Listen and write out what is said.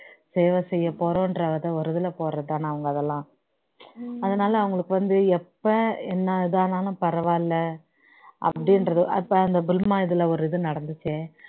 சேவை செய்யப்போறோம்ன்ற அந்த ஒரு இதுல போறதுதான அவங்க அதெல்லாம் அதனால அவங்களுக்கு வந்து எப்ப என்ன இதானாலும் பரவாயில்ல அப்படின்றது அதுதான் அந்த புல்வாமா இதுல ஒரு இது நடந்துச்சே